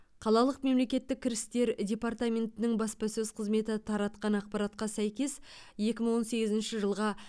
қалалық мемлекеттік кірістер департаментінің баспасөз қызметі таратқан ақпаратқа сәйкес екі мың он сегізінші жылға